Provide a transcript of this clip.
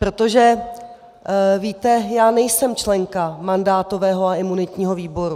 Protože, víte, já nejsem členka mandátového a imunitního výboru.